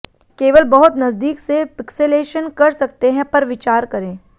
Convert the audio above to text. केवल बहुत नजदीक से पिक्सेलेशन कर सकते हैं पर विचार करें